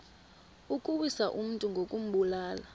ukuwisa umntu ngokumbulala